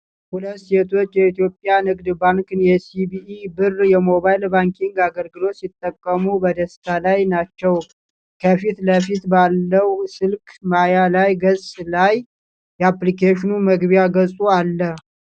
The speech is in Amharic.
ሁለት ሴቶች የኢትዮጵያ ንግድ ባንክን የሲቢኢ ብር የሞባይል ባንኪንግ አገልግሎት ሲጠቀሙ በደስታ ላይ ናቸው። ከፊት ለፊት ባለው ስልክ ማያ ገጽ ላይ የአፕሊኬሽኑ መግቢያ ገጽ አለ።